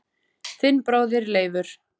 Þinn bróðir Leifur.